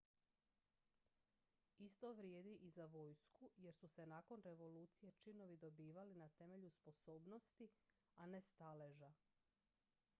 isto vrijedi i za vojsku jer su se nakon revolucije činovi dobivali na temelju sposobnosti a ne staleža